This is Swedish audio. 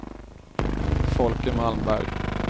Folke Malmberg